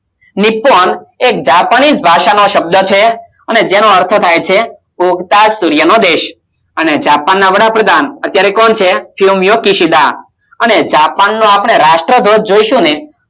Nippon એક જાપાનીશ ભાષા નો શબ્દ છે જેનો અર્થ થાય છે ઉગતા સૂર્ય નો દેશ જાપાન ના વડાપ્રધાન અત્યારે કોણ છે સોમિયાકેસૂડા અને જાપાન નો રાષ્ટ્રધ્વજ જોસુ ને